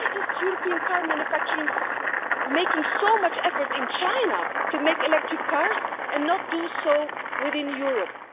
Why are European car manufacturers making so much effort in China to make electric cars and not do so within Europe?